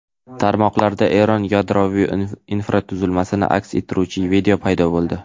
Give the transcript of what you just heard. Tarmoqlarda Eron yadroviy infratuzilmasini aks ettiruvchi video paydo bo‘ldi.